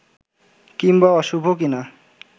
কিংবা অশুভ কি-না